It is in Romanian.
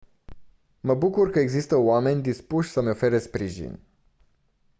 mă bucur că există oameni dispuși să-mi ofere sprijin